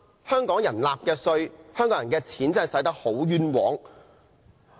香港人繳納的稅款真的花得很冤枉。